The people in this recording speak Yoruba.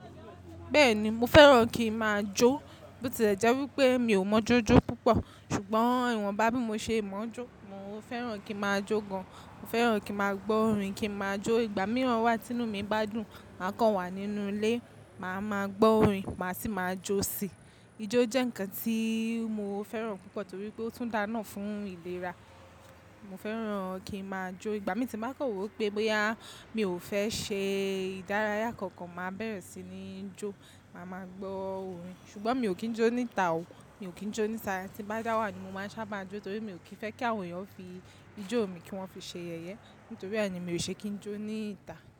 Bẹ́ẹ̀ni, mo fẹ́ràn kí ma jó. Bótílẹ́ jẹ́ wípé mi ò mọ jó jó púpọ̀. Ṣùgbọ́n ìwọ̀nbá bí mo ṣe mọ jó, mo fẹ́ràn kí ma jó gan. Mo fẹ́ràn kí ma gbọ́ orin, kí ma jó. Ìgbà mìíràn wá tí inú mi bá dùn, máa kàn wà nínú ilé, màá máa gbọ́ orin, màá sì máa jó sì. Ijó jẹ́ ǹkan tí mo fẹ́ràn púpọ̀ torí pé ó tún daá ná fún ìlera. Mo fẹ́ràn kí ma jó. Ìgbà mí tí n bá kan wo pé bóyá mi ò fẹ́ ṣe ìdárayá kankan, màá bẹ̀rẹ̀ síi ní jó, màá máa gbọ́ orin. Ṣùgbọ́n mi ò kí ń jó níta o, mi ò kí ń jó níta. Tí bá dá wà ni mo máa sábà jó torí mi ò kí ń fẹ́ kí àwọn èèyàn fi ijó mi kí wọ́n fi ṣe yẹyẹ. Nítorí àá ni mi ò ṣe kí ń jó níta.